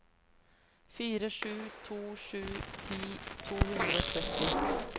fire sju to sju ti to hundre og tretti